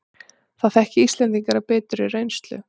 Það þekki Íslendingar af biturri reynslu